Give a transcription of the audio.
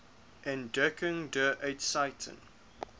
entdeckung der eiszeiten